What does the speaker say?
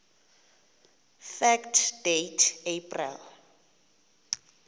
fact date april